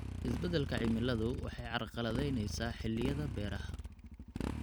Isbeddelka cimiladu waxay carqaladaynaysaa xilliyada beeraha.